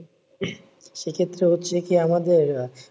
সে ক্ষেত্রে হচ্ছে কি আমাদের